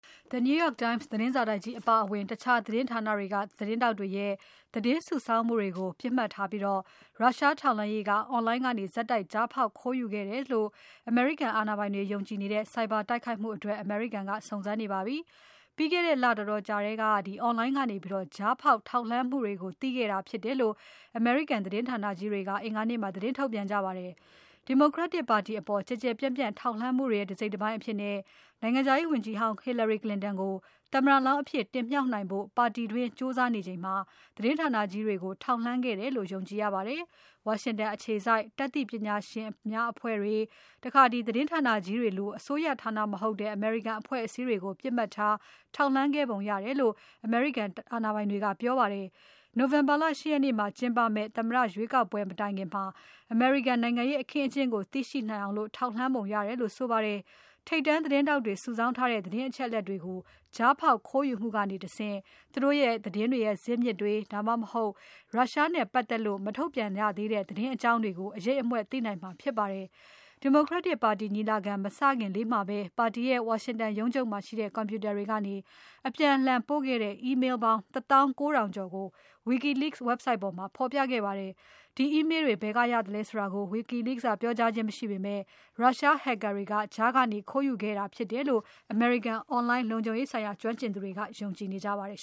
The New York Times သတင်းစာတိုက်ကြီးအပါအဝင် တခြားသတင်းဌာနတွေက သတင်းထောက်တွေရဲ့ သတင်းစုဆောင်းမှုတွေကို ပစ်မှတ်ထားပြီး ရုရှားထောက်လှမ်းရေးက Online ကနေ ဆက်တိုက် ကြားဖောက် ခိုးယူခဲ့တယ်လို့ အမေရိကန် အာဏာပိုင်တွေ ယုံကြည်နေကြတဲ့ ဆိုက်ဘာတိုက်ခိုက်မှုတွေအတွက် အမေရိကန်က စုံစမ်းနေပါပြီ။ ပြီးခဲ့တဲ့လ တော်တော်ကြာထဲက Online ကနေ ကြားဖောက် ခိုးယူမှုကို သိခဲ့တာဖြစ်တယ်လို့ အမေရိကန် သတင်းဌာနကြီးတွေက အင်္ဂါနေ့မှာ သတင်းထုတ်ပြန်ကြပါတယ်။ Democratic ပါတီအပေါ် ကျယ်ကျယ်ပြန့်ပြန့် ထောက်လှမ်းမှုတွေရဲ့ တစိတ်တပိုင်းအဖြစ် နိုင်ငံခြားရေးဝန်ကြီးဟောင်း Hillary Clinton ကို သမ္မတလောင်းအဖြစ်တင်မြှောက်နိုင်ဖို့ ပါတီတွင်း ကြိုးစားနေချိန်မှာ သတင်းဌာနကြီးတွေကို ထောက်လှမ်းခဲ့တယ်လို့ ယုံကြည်ရပါတယ်။ ဝါရှင်တန်အခြေစိုက် တတ်သိပညာရှင်အဖွဲ့တွေ၊ သတင်းဌာနကြီးတွေလို အစိုးရဌာနမဟုတ်တဲ့ အမေရိကန် အဖွဲ့အစည်းတွေကို ပစ်မှတ်ထား ထောက်လှမ်းခဲ့ပုံရတယ်လို့ အမေရိကန် တာဝန်ရှိသူတွေက ပြောပါတယ်။ နိုဝင်ဘာလ ၈ ရက်မှာ ကျင်းပမယ့် အမေရိကန်သမ္မတ ရွေးကောက်ပွဲ မတိုင်ခင်မှာ အမေရိကန် နိုင်ငံရေး အခင်းအကျင်းကို သိရှိနိုင်အောင် ထောက်လှမ်းပုံရတယ်လို့ ဆိုပါတယ်။ ထိပ်တန်းသတင်းထောက်တွေ စုဆောင်းထားတဲ့ သတင်းအချက်အလက်တွေကို ကြားဖောက်ခိုးယူမှုကနေတဆင့် သူတို့သတင်းရဲ့ ဇစ်မြစ်တွေ၊ ဒါမှမဟုတ် ရုရှားနဲ့ပတ်သက်လို့ မထုတ်ပြန်ရသေးတဲ့ သတင်းအကြောင်း အရိပ်အမြွက်ကို သိနိုင်မှာဖြစ်ပါတယ်။ Democratic ပါတီညီလာခံ မစခင်လေးမှာပဲ ပါတီရဲ့ ဝါရှင်တန်ရုံးချုပ်မှာရှိတဲ့ ကွန်ပြူတာတွေကနေ အပြန်အလှန်ပို့ခဲ့တဲ့ Email ပေါင်း ၁ သောင်း ၉ ထောင်ကျော်ကို WikiLeaks website ပေါ်မှာ ပြခဲ့ပါတယ်။ ဒီ Email တွေ ဘယ်ကရသလဲဆိုတာကို WikiLeaks က ပြောကြားခြင်းမရှိပေမဲ့ Russia hacker တွေက ကြားကနေ ခိုးယူခဲ့တာဖြစ်တယ်လို့ အမေရိကန် Online လုံခြုံရေးဆိုင်ရာ ကျွမ်းကျင်သူတွေက ယုံကြည်နေကြပါတယ်